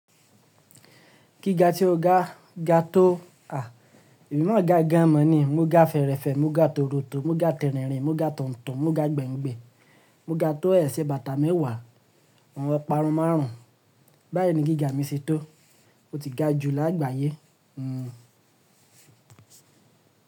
Gíga tí o ga, ga tó. À, emi náà ga gan maa ni, mo ga fẹrẹfẹ, mo ga tòrótò, mo ga tẹ̀rìnrìn, mo ga tọ̀ntọ̀n, mo ga gbẹ̀ǹgbẹ̀, mo ga tó ẹsẹ̀ bàtà mẹ́wàá, àwọn ọparun márùn ún. Báyìí ni gíga mi ṣe tó, ó ti ga ju lágbàyé. Hmmm.